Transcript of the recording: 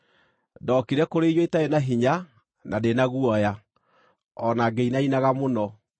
Ndookire kũrĩ inyuĩ itarĩ na hinya, na ndĩ na guoya, o na ngĩinainaga mũno.